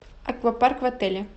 аквапарк в отеле